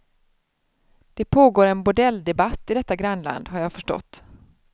Det pågår en bordelldebatt i detta grannland, har jag förstått.